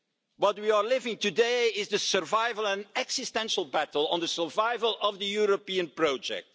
What we are living today is the survival and existential battle over the survival of the European project.